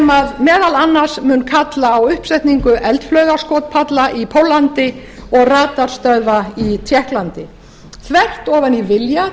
meðal annars mun kalla á uppsetningu eldflaugaskotpalla í póllandi og radarstöðva í tékklandi þvert ofan í vilja